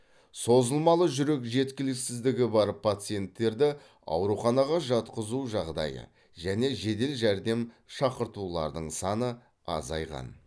созылмалы жүрек жеткіліксіздігі бар пациенттерді ауруханаға жатқызу жағдайы және жедел жәрдем шақыртулардың саны азайған